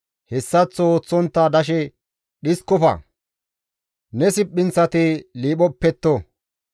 Hessaththo ooththontta dashe dhiskofa; ne siphinththati liphopetto.